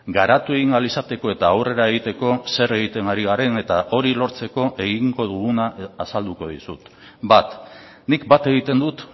garatu egin ahal izateko eta aurrera egiteko zer egiten ari garen eta hori lortzeko egingo duguna azalduko dizut bat nik bat egiten dut